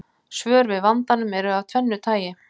Svör við vandanum eru af tvennu tagi.